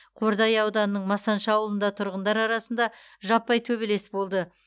қордай ауданының масаншы ауылында тұрғындар арасында жаппай төбелес болды